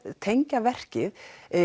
tengja verkið